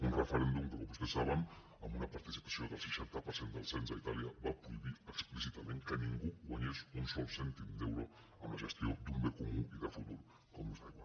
un referèndum que com vostès saben amb una participació del seixanta per cent dels cens a itàlia va prohibir explícitament que ningú guanyés un sol cèntim d’euro amb la gestió d’un bé comú i de futur com és l’aigua